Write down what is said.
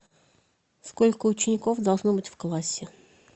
сколько учеников должно быть в классе